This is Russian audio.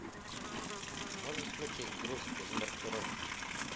можешь включить груз без маркировки